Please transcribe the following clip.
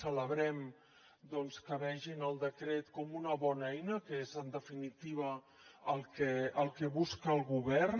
celebrem doncs que vegin el decret com una bona eina que és en definitiva el que busca el govern